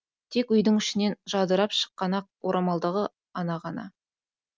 тек үйдің ішінен жадырап шыққан ақ орамалдағы ана ғана